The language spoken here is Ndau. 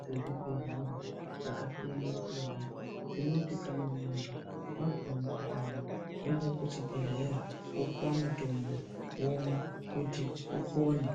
dzezvibhedlera dzakasiyana siyana dzinoti kana muntu wazwa mukuhlane woenda kuchibhedlera opuwa mutombo womwa kuti upone.